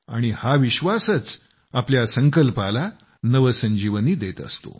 आणि हा विश्वासच आपल्या संकल्पाला नवसंजीवनी देत असतो